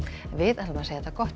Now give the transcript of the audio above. við segjum þetta gott